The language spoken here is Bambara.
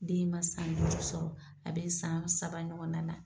Den ma san duuru sɔrɔ, a be san saba ɲɔgɔn na na.